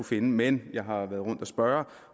finde men jeg har været rundt og spørge